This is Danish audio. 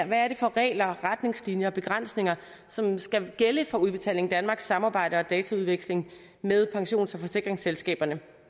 hvad er det for regler retningslinjer og begrænsninger som skal gælde for udbetaling danmarks samarbejde og dataudveksling med pensions og forsikringsselskaberne